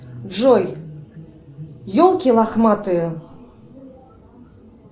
джой елки лохматые